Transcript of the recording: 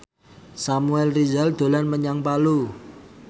Samuel Rizal dolan menyang Palu